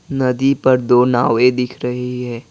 नदी पर दो नावे दिख रही है।